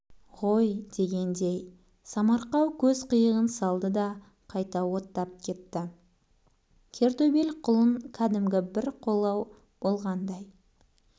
ғойдегендей самарқау көз қиығын салды да қайта оттап кетті кер төбел құлын кәдімгі бір қолау болғаңдай